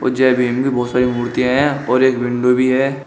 जयवीर बहुत सारी मूर्तियां हैं और विंडो भी है।